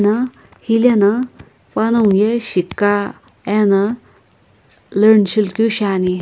na hilena panongu ye shikuka ena learn shilukeu shiani.